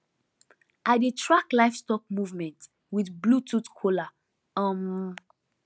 i dey track livestock movement with bluetooth collar um